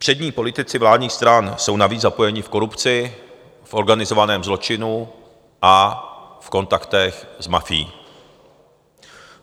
Přední politici vládních stran jsou navíc zapojeni v korupci, v organizovaném zločinu a v kontaktech s mafií.